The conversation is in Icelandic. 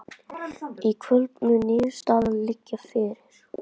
Í kvöld mun niðurstaðan liggja fyrir